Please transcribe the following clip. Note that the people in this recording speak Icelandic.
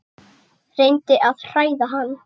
Reyndi að hræða hann.